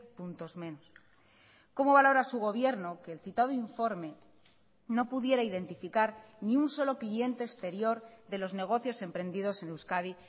puntos menos cómo valora su gobierno que el citado informe no pudiera identificar ni un solo cliente exterior de los negocios emprendidos en euskadi